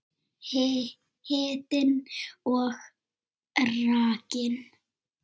Hitinn og rakinn.